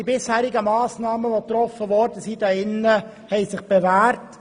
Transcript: Die bisherigen Massnahmen, die hier im Rat getroffen wurden, haben sich bewährt.